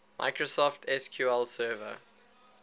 microsoft sql server